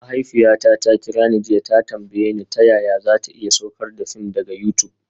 Mahaifiyata ta kira ni jiya ta tambaye ni ta yaya za ta iya saukar da fim daga YouTube